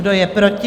Kdo je proti?